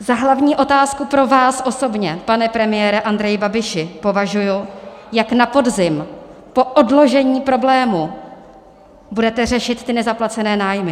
Za hlavní otázku pro vás osobně, pane premiére Andreji Babiši, považuji, jak na podzim po odložení problému budete řešit ty nezaplacené nájmy.